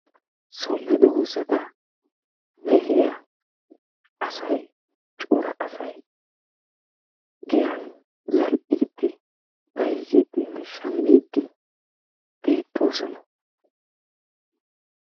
so medoosa mehiyaa assay giyani shamidine bayzidi beettosona.